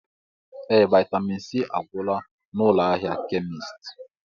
Ee! Vaịtamịn C agwụla n'ụlọ ahịa kemisti.